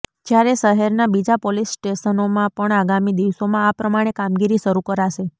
જ્યારે શહેરનાં બીજા પોલીસ સ્ટેશનોમાં પણ આગામી દિવસોમાં આ પ્રમાણે કામગીરી શરૂ કરાશે